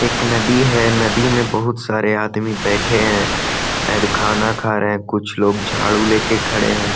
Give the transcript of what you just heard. एक नदी है। नदी में बहोत सारे आदमी बैठे हैं शायद खाना खा रहे हैं। कुछ लोग झाड़ू लेके खड़े हैं।